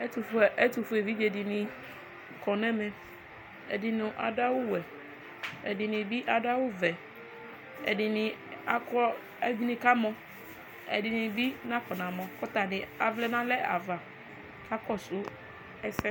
Ɛtʋfue evidze dini kɔnʋ ɛmɛ ɛdini adʋ awʋwɛ ɛdini bi adʋ awʋvɛ ɛdini kamɔ kʋ ɛdini bi nakɔ namɔ kʋ atani avlɛ nʋ alɛ ava kʋ akakɔsʋ ɛsɛ